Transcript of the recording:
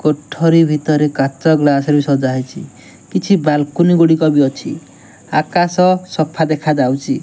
କୋଠରୀ ଭିତରେ କାଚ ଗ୍ଲାସ ରେ ବି ସଜା ହେଇଚି। କିଛି ବାଲକୋନୀ ଗୁଡିକ ବି ଅଛି। ଆକାଶ ସଫା ଦେଖାଯାଉଛି।